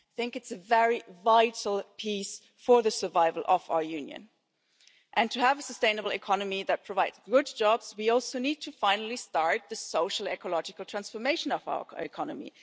it is a very vital piece for the survival of our Union. To have a sustainable economy that provides good jobs, we also need to finally start the social ecological transformation of our economy.